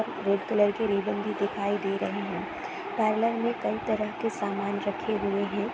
Red colour के ribbon भी दिखाई दे रहे हैं। पार्लर में कई तरह के सामान रखे हुए हैं।